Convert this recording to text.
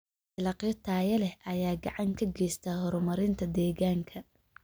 Dalagyo tayo leh ayaa gacan ka geysta horumarinta deegaanka.